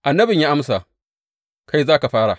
Annabin ya amsa, Kai za ka fara.